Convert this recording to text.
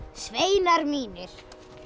sveinar mínir